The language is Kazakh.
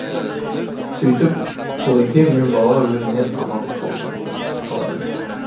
сөйтіп құлеке мен бала өлімнен аман қалады